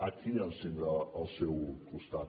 aquí ens tindrà al seu costat